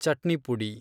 ಚಟ್ನಿಪುಡಿ